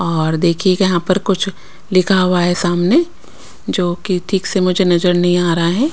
और देखिए यहां पर कुछ लिखा हुआ है सामने जो की ठीक से मुझे नजर नहीं आ रहा है।